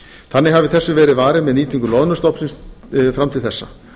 þannig hafi þessu verið varið með nýtingu loðnustofnsins fram til þessa